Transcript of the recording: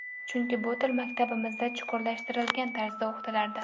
Chunki bu til maktabimizda chuqurlashtirilgan tarzda o‘qitilardi.